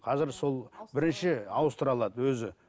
қазір сол бірінші ауыстыра алады өзі